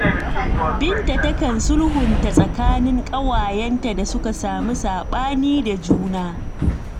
Binta takan sulhunta tsakanin ƙawayenta da suka samu saɓani da juna.